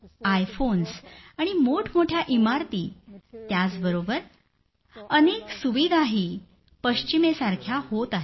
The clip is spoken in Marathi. आयफोन्स आणि मोठमोठ्या इमारती त्याचबरोबर खूप साया सुविधाही पश्चिमेसारख्या होत आहेत